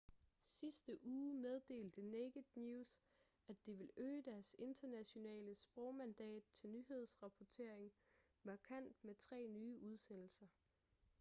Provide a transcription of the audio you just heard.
sidste uge meddelte naked news at de ville øge deres internationale sprogmandat til nyhedsrapportering markant med tre nye udsendelser